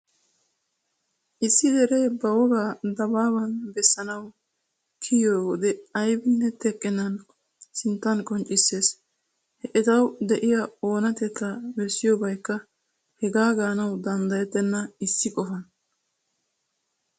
Issi dere ba woga dabbaban bessanawu kiyiyyode ayyibinne teqqennan sittan qonchisees. He ettawu de'iya onatteta bessiyobaykka haga ganawu danddayettena issi qofan.